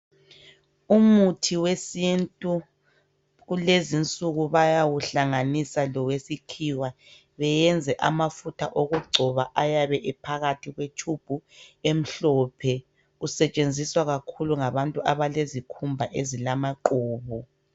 Umuthi wesintu kulezi nsuku bayawuhlanganisa lowesikhiwa beyenze amafutha okugcoba ayabe ephakathi kwe tshubhu emhlophe .Usetshenziswa kakhulu ngabantu abalezikhumba ezilamaqhubu.